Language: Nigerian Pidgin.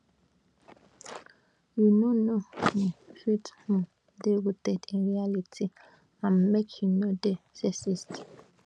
you no no um fit um dey rooted in reality and make you no dey sexist